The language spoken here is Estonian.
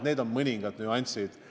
Need on mõningad märksõnad.